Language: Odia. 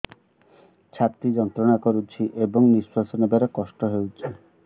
ଛାତି ଯନ୍ତ୍ରଣା କରୁଛି ଏବଂ ନିଶ୍ୱାସ ନେବାରେ କଷ୍ଟ ହେଉଛି